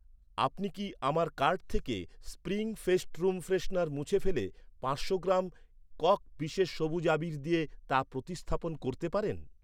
আপনি কি আমার কার্ট থেকে স্প্রিং ফেস্ট রুম ফ্রেশনার মুছে ফেলে পাঁচশো গ্রাম কক বিশেষ সবুজ আবীর দিয়ে তা প্রতিস্থাপন করতে পারেন?